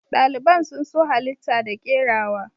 Daliban sun so halita da kerawa.